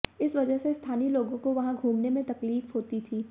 इस वजह से स्थानीय लोगों को वहां घूमने में तकलीफ होती थी